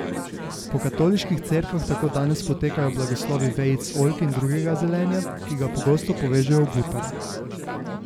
Po katoliških cerkvah tako danes potekajo blagoslovi vejic oljk in drugega zelenja, ki ga pogosto povežejo v butare.